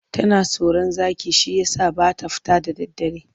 Tana tsoron zaki shi ya sa ba ta fita da daddare.